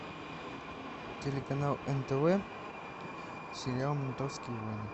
телеканал нтв сериал ментовские войны